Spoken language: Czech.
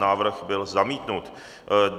Návrh byl zamítnut.